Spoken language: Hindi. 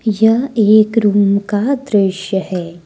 यह एक रूम का दृश्य है।